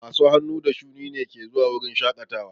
Masu hannu da shuni ne ke zuwa wurin shaƙatawa.